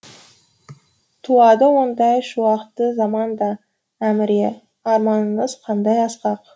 туады ондай шуақты заман да әміре арманыңыз қандай асқақ